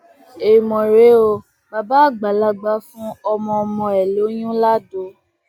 èèmọ rèé o bàbá àgbàlagbà fún ọmọọmọ ẹ lóyún lado